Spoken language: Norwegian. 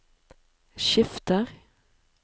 skifter